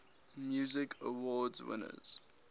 music awards winners